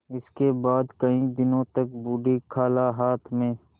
इसके बाद कई दिन तक बूढ़ी खाला हाथ में